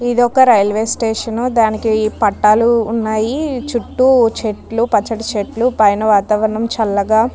ఇది ఒక railway station దీనికి పట్టాలు ఉన్నాయి చుట్టూ చెట్లు పచ్చని చెట్లు పైన వాతావరణం చల్లగా --